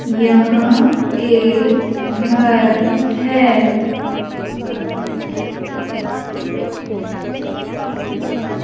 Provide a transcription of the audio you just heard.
यहां एक घर है।